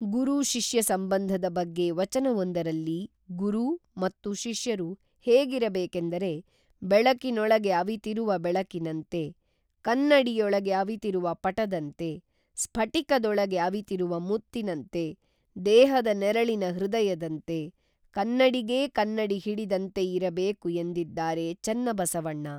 ಗುರು ಶಿಷ್ಯ ಸಂಬಂಧದ ಬಗ್ಗೆ ವಚನವೊಂದರಲ್ಲಿ ಗುರು, ಮತ್ತು, ಶಿಷ್ಯರು ಹೇಗಿರಬೇಕೆಂದರೆ ಬೆಳಕಿನೊಳಗೆ ಅವಿತಿರುವ ಬೆಳಕಿನಂತೆ, ಕನ್ನಡಿಯೊಳಗೆ ಅವಿತಿರುವ ಪಟದಂತೆ, ಸ್ಫಟಿಕದೊಳಗೆ ಅವಿತಿರುವ ಮುತ್ತಿನಂತೆ, ದೇಹದ ನೆರಳಿನ ಹೃದಯದಂತೆ, ಕನ್ನಡಿಗೇ ಕನ್ನಡಿ ಹಿಡಿದಂತೆ ಇರಬೇಕು ಎಂದಿದ್ದಾರೆ ಚನ್ನ ಬಸವಣ್ಣ